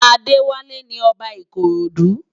Adewale ni Òbá Ikorodu